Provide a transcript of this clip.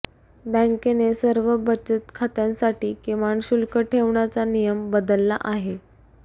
बँकेने सर्व बचक खात्यांसाठी किमान शुल्क ठेवण्याचा नियम बदलला आहे